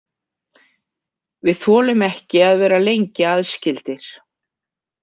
Við þolum ekki að vera lengi aðskildir.